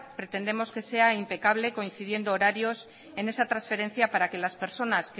pretendemos que sea impecable coincidiendo horarios en esa transferencia para que las personas